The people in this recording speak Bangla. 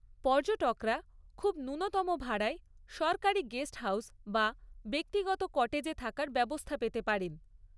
পর্যটকরা খুব ন্যূনতম ভাড়ায় সরকারি গেস্টহাউজ বা ব্যক্তিগত কটেজে থাকার ব্যবস্থা পেতে পারেন।